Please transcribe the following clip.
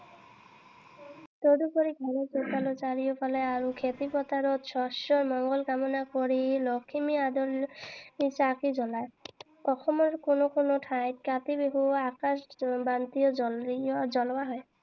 তদুপৰি ঘৰৰ চোতালৰ চাৰিওফালে আৰু খেতি পথাৰত শস্যৰ মঙ্গল কামনা কৰি লখিমী আদৰি চাকি জ্বলায়। অসমৰ কোনো কোনো ঠাইত কাতি বিহুত আকাশ বন্তিও জ্বলোৱা হয়।